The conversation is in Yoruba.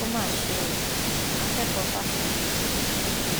ó mà ṣe o akẹkọọ fásitì ìfẹ